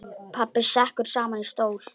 Pabbi sekkur saman í stól.